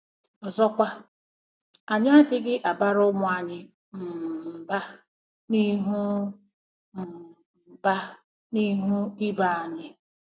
Ọzọkwa, anyị adịghị abara ụmụ anyị um mba n'ihu um mba n'ihu ibe anyị.